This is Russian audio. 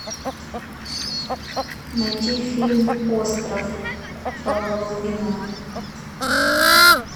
найти фильм остров павла лунгина